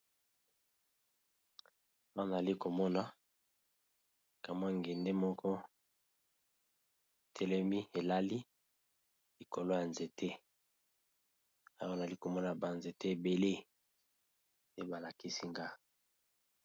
Awa nalikomona kamwa ngende moko elali likolo ya nzete Awa nalikomona ba nzete ebele.